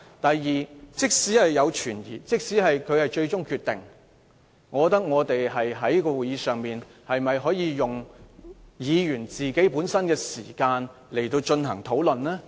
第二，即使存有疑問，即使主席的決定是最終決定，我們在會議上又可否利用議員的發言時間進行討論？